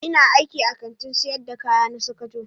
Ina aiki a Kantin sayar da kaya na sokoto.